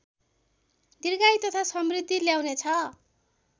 दीर्घायु तथा समृद्धि ल्याउनेछ